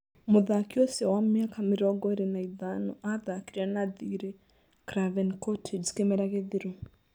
Mũthaki ũcio wa mĩaka mĩrongo ĩĩrĩ na ĩtano athakire na thirĩ Craven Cottage kĩmera gĩthiru